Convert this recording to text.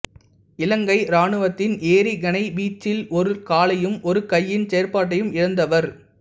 இலங்கை இராணுவத்தின் எறிகணை வீச்சில் ஒரு காலையும் ஒரு கையின் செயற்பாட்டையும் இழந்தவர்